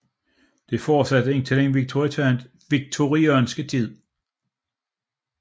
Dette fortsatte indtil den victorianske tid